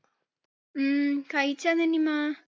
ഉം കഴിച്ചാ നന്നിമ്മ?